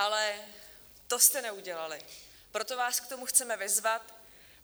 Ale to jste neudělali, proto vás k tomu chceme vyzvat.